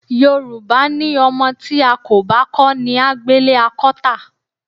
Yorùbá ní o̩mo̩ tí a kò bá kó̩ ní á gbélé a kó̩ tà.